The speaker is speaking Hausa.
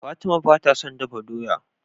Fatima bata son dafa doya